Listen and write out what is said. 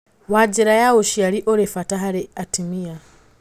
Wa njĩra ya ũciarĩ ũrĩ bata harĩ atĩmĩa